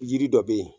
Yiri dɔ bɛ yen